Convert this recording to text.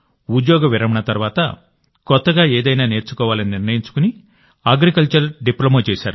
ఉద్యోగ విరమణ తర్వాత కొత్తగా ఏదైనా నేర్చుకోవాలని నిర్ణయించుకుని అగ్రికల్చర్ డిప్లొమా చేశారు